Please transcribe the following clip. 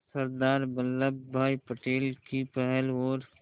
सरदार वल्लभ भाई पटेल की पहल और